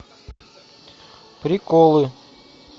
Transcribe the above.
приколы